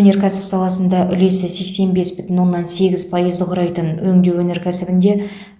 өнеркәсіп саласында үлесі сексен бес бүтін оннан сегіз пайызды құрайтын өңдеу өнеркәсібінде